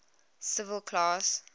civil class